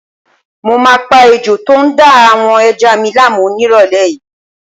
Mo máa pa ejò tó ń da àwọn ẹja mi láàmú nírọ̀lẹ́ yìí